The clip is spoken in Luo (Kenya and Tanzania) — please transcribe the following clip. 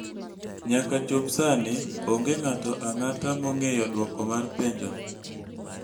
Nyaka chop sani, onge ng'ato ang'ata mong'eyo dwoko mar penjono.